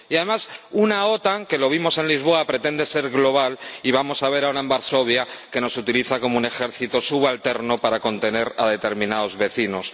Y, además, una OTAN que, como vimos en Lisboa, pretende ser global y vamos a ver ahora en Varsovia que nos utiliza como un ejército subalterno para contener a determinados vecinos.